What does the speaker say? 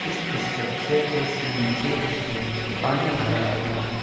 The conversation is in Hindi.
इस स्ट्रक्चर के इस नीचे हिस्से में पानी भरा हुआ है।